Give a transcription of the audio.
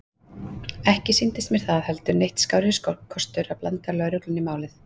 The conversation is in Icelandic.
Ekki sýndist mér það heldur neitt skárri kostur að blanda lögreglunni í málið.